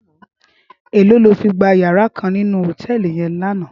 Éló ló fi gbá iyàrá kán ninú hótèlí yèn làná?